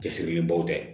Cɛsirilen baw tɛ